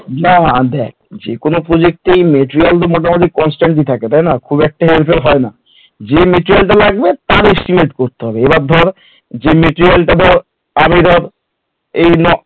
না দেখ যেকোন project এই material construction তাই না যে material টা লাগবে তার estimate করতে হবে এবার ধর যে material টা ধর এই নয়